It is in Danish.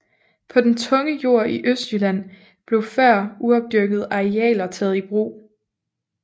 På den tunge jord i Østjylland blev før uopdyrkede arealer taget i brug